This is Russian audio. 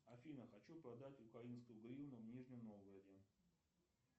афина хочу продать украинскую гривну в нижнем новгороде